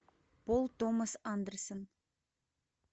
пол томас андерсон